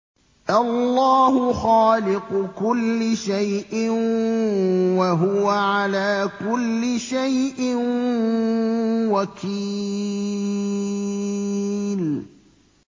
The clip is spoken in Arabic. اللَّهُ خَالِقُ كُلِّ شَيْءٍ ۖ وَهُوَ عَلَىٰ كُلِّ شَيْءٍ وَكِيلٌ